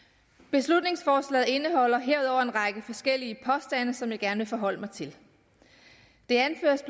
beslutningsforslaget indeholder herudover en række forskellige påstande som jeg gerne vil forholde mig til det anføres